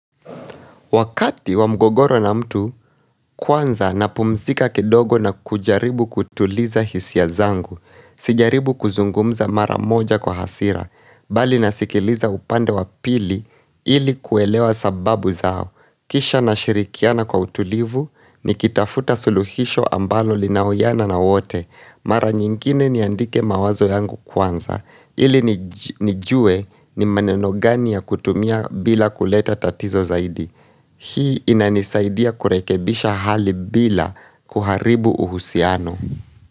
Wakati wa mgogoro na mtu, kwanza napumzika kidogo na kujaribu kutuliza hisia zangu. Sijaribu kuzungumza mara moja kwa hasira, bali nasikiliza upande wa pili ili kuelewa sababu zao. Kisha nashirikiana kwa utulivu, nikitafuta suluhisho ambalo linawiana na wote. Mara nyingine niandike mawazo yangu kwanza, ili nijue ni maneno gani ya kutumia bila kuleta tatizo zaidi. Hii inanisaidia kurekebisha hali bila kuharibu uhusiano.